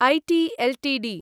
eighty Ltd